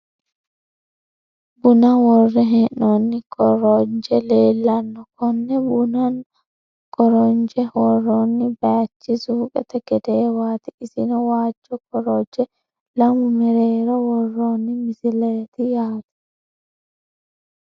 Buna worre hee'noonni koroji leellanno konne bunanna korojo worroonni baaychi suuqete gedeewaati isino waajjo korojo lamu mereero worroonni misileeti yaate.